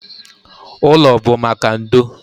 Ụlọ bụ maka ndo.